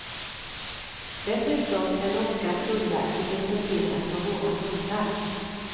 Dessutom är norska tullverket intresserat av våra hundar.